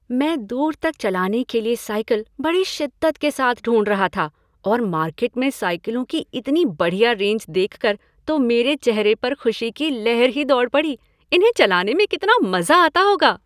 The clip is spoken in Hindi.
मैं दूर तक चलाने के लिए साइकिल बड़ी शिद्दत के साथ ढूंढ रहा था और मार्केट में साइकिलों की इतनी बढ़िया रेंज देखकर तो मेरे चेहरे पर खुशी की लहर ही दौड़ पड़ी, इन्हें चलाने में कितना मज़ा आता होगा।